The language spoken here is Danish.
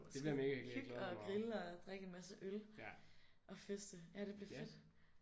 Så skal vi hygge og grille og drikke en masse øl og feste. Ja det bliver fedt